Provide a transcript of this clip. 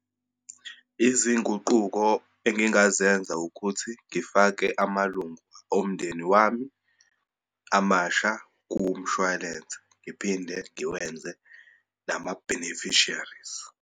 Izinguquko engingazenza ukuthi, ngifake amalungu omndeni wami amasha kumshwalense, ngiphinde ngiwenze nama-beneficiaries.